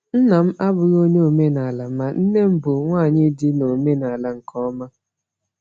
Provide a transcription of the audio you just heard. Nna m abụghị onye omenala, ma nne m bụ nwanyị dị n’omenala nke ọma.